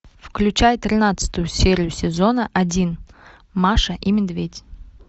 включай тринадцатую серию сезона один маша и медведь